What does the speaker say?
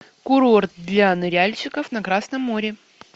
курорт для ныряльщиков на красном море